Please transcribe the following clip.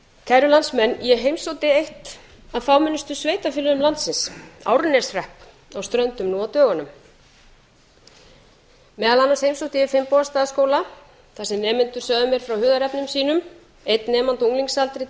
kæru landsmenn ég heimsótti eitt af fámennustu sveitarfélögum landsins árneshrepp á ströndum nú á dögunum á heimsótti ég fimm starfsskóla þar sem nemendur sögðu mér frá hugðarefnum sínum einn nemandi á unglingsaldri